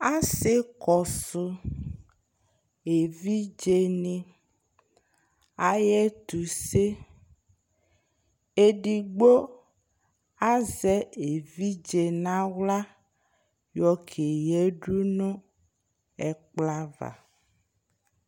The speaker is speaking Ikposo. Asɩ kɔsʋ evidzenɩ ayʋ ɛtʋse, edigbo azɛ evidze nʋ aɣla yɔkeyǝdʋ nʋ ɛkplɔ ava